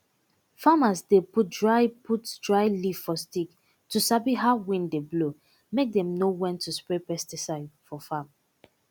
farmers dey put dry put dry leaf for stick to sabi how wind dey blow make them know when to spray pesticide for farm